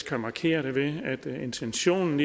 kan markere ved at sige at intentionen